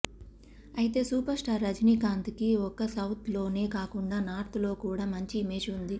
అయితే super star Rajinikanth కి ఒక్క సౌత్ లోనే కాకుండా నార్త్ లో కూడా మంచి ఇమేజ్ ఉంది